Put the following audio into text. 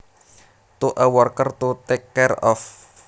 to a worker to take care of